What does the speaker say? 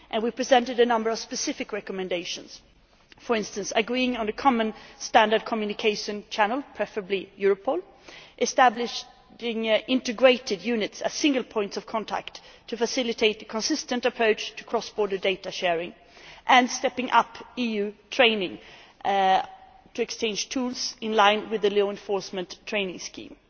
We have presented a number of specific recommendations, for instance agreeing on a common, standard communication channel preferably Europol establishing integrated units as single points of contact to facilitate a consistent approach to cross border data sharing, and stepping up EU training to exchange tools, in line with the Law Enforcement Training Scheme.